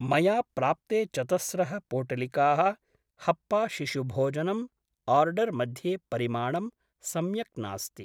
मया प्राप्ते चतस्रः पोटलिकाः हप्पा शिशुभोजनम् आर्डर् मध्ये परिमाणं सम्यक् नास्ति।